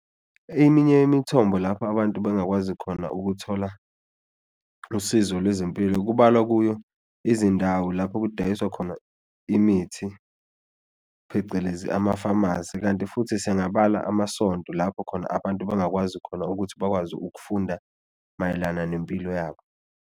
Eminye imithombo lapho abantu bengakwazi khona ukuthola usizo lwezempilo kubalwa kuyo izindawo lapho kudayiswa khona imithi phecelezi amafamasi, kanti futhi singabala amasonto lapho khona abantu bangakwazi khona ukuthi bakwazi ukufunda mayelana nempilo yabo.